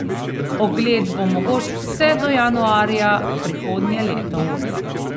Ogled bo mogoč vse do januarja prihodnje leto.